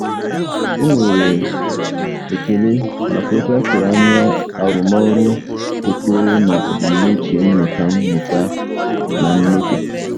Ọ nwere ekele maka otu a tụrụ anya arụmọrụ kwekọrọ na ebumnuche mmụta mmụta na mmepe.